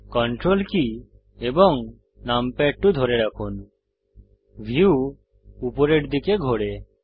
ctrl key এবং numpad 2 ধরে রাখুন ভিউ উপরের দিকে ঘোরে